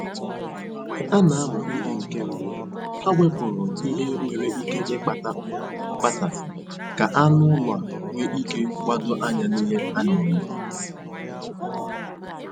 Mgbe a na-amụ ihe nke mbụ, ha wepụrụ ihe nwere ike ịkpata mkpasasị ka anụ ụlọ a nwee ike gbadoo anya n'ihe a na-eme